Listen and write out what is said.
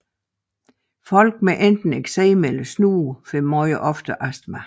Folk med enten eksem eller snue får meget oftere astma